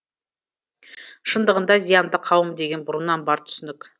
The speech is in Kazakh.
шындығында зиянды қауым деген бұрыннан бар түсінік